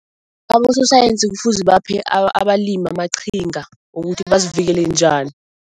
Abososayensi kufuze baphe abalimi amaqhinga ukuthi bazivikele njani.